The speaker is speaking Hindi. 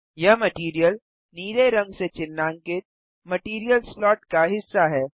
यह मटैरियल नीले रंग से चिह्नांकित मटैरियल स्लॉट का हिस्सा है